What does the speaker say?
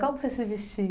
Como que você se vestia?